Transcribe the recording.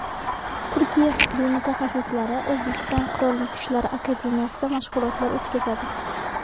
Turkiya harbiy mutaxassislari O‘zbekiston Qurolli Kuchlari akademiyasida mashg‘ulotlar o‘tkazadi.